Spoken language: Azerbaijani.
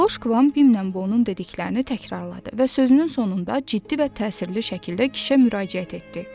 Kloşqvan Bimnlə Bonun dediklərini təkrarladı və sözünün sonunda ciddi və təsirli şəkildə kişə müraciət etdi.